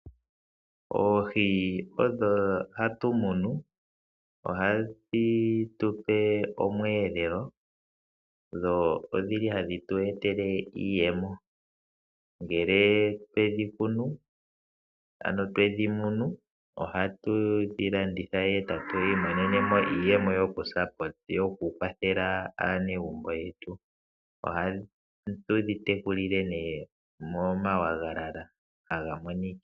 Oohi odho hatu munu. Ohadhi tupe omweelelo dho odhili hadhi tu etele iiyemo ngelee twedhikunu ano twedhi munu ohatu dhilanditha etatu imonene mo iiyemo yoku kwathela aanegumbo yetu. Ohatudhi tekulile nee moma wagalala aga Monikila.